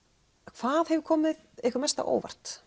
hvað hefur komið ykkur mest á óvart